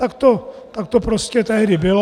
Tak to prostě tehdy bylo.